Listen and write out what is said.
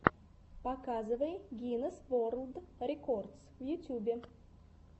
показывай гинесс ворлд рекордс в ютубе